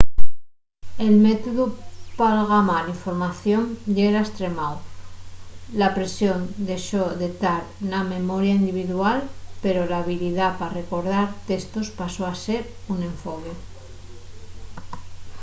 el métodu p'algamar información yera estremáu la presión dexó de tar na memoria individual pero la habilidá pa recordar testos pasó a ser un enfoque